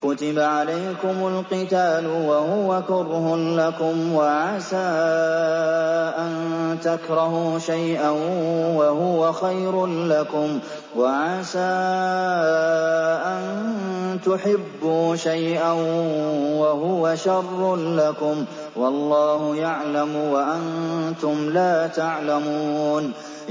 كُتِبَ عَلَيْكُمُ الْقِتَالُ وَهُوَ كُرْهٌ لَّكُمْ ۖ وَعَسَىٰ أَن تَكْرَهُوا شَيْئًا وَهُوَ خَيْرٌ لَّكُمْ ۖ وَعَسَىٰ أَن تُحِبُّوا شَيْئًا وَهُوَ شَرٌّ لَّكُمْ ۗ وَاللَّهُ يَعْلَمُ وَأَنتُمْ لَا تَعْلَمُونَ